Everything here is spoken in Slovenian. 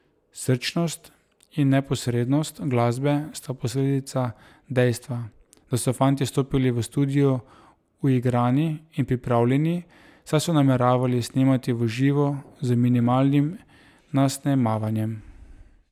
Srčnost in neposrednost glasbe sta posledica dejstva, da so fantje stopili v studio uigrani in pripravljeni, saj so nameravali snemati v živo z minimalnim nasnemavanjem.